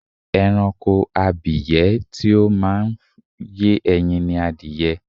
Ẹranko abìyẹ́ tí ó máa ń yé ẹyin ni adìyẹ.